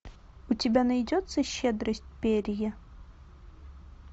у тебя найдется щедрость перрье